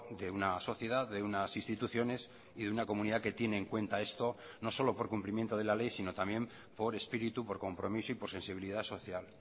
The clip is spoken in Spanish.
de una sociedad de unas instituciones y de una comunidad que tiene en cuenta esto no solo por cumplimiento de la ley sino también por espíritu por compromiso y por sensibilidad social